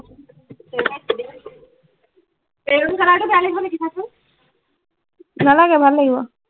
maroon color টো বেয় লাগিব নি চা চোন নালাগে ভাল লাগিব